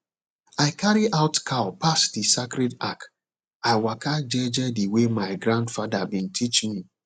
i carry out cow pass the sacred arch i waka jeje the way my grandfather been teach me